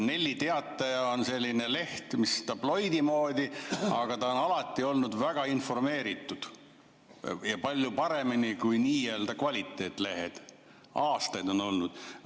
Nelli Teataja on selline leht, mis on tabloidi moodi, aga ta on alati olnud väga informeeritud ja palju paremini, kui nii-öelda kvaliteetlehed on aastaid olnud.